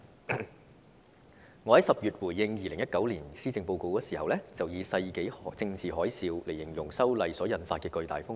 我在10月回應2019年施政報告的時候，曾以"世紀政治海嘯"來形容修例所引發的巨大風波。